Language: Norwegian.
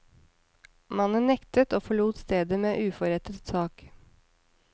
Mannen nektet og forlot stedet med uforrettet sak.